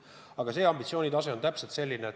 Aga ambitsioon on just selline.